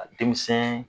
Denmisɛn